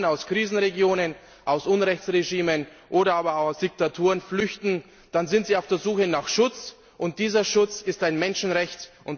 Wenn Menschen aus Krisenregionen, aus Unrechtsregimen oder aber auch aus Diktaturen flüchten, dann sind sie auf der Suche nach Schutz, und dieser Schutz ist ein Menschenrecht.